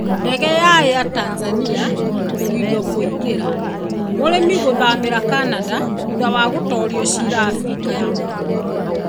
Ndege ya Air Tanzania kũgirio kũingĩra: Mũrĩmi gũthaamĩra Canada thutha wa gũtoorio cira Abirika ya Mũhuro